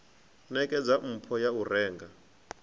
nekedza mpho ya u renga